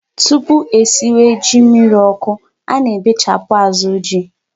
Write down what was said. Tupu esịwe ji mmirí ọkụ, a na-ebechapụ azụ ji.